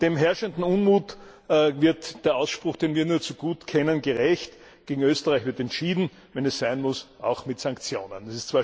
Dem herrschenden Unmut wird der Ausspruch, den wir nur zu gut kennen, gerecht Gegen Österreich wird entschieden, wenn es sein muss, auch mit Sanktionen.